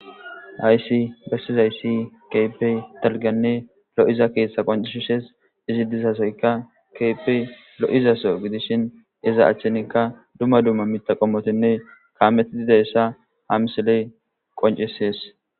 haysi bessizayssi keypey talganne lo7iza keeshtha qoncishishes izi dizasoyka kepey lo7izaso gidishin iza achchinikka dumma dumma mita qommotinne kaametididayssa hamsiley qoncisees